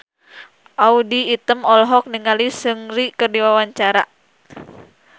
Audy Item olohok ningali Seungri keur diwawancara